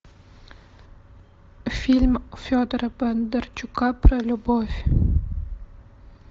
фильм федора бондарчука про любовь